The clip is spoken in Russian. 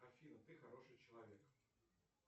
афина ты хороший человек